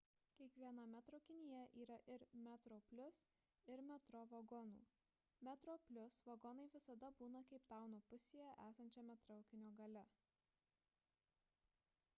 kiekviename traukinyje yra ir metroplus ir metro vagonų metroplus vagonai visada būna keiptauno pusėje esančiame traukinio gale